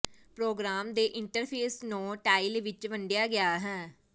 programme ਦੇ interface ਨੌ tile ਵਿੱਚ ਵੰਡਿਆ ਗਿਆ ਹੈ